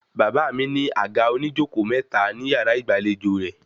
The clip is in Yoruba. Bàbá mi ní àga oníjókòó mẹ́ta ní yàrá ìgbàlejò rẹ̀